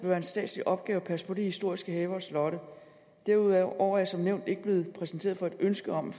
være en statslig opgave at passe på de historiske haver og slotte derudover er jeg som nævnt ikke blevet præsenteret for et ønske om